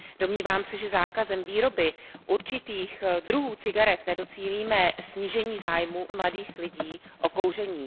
Domnívám se, že zákazem výroby určitých druhů cigaret nedocílíme snížení zájmu mladých lidí o kouření.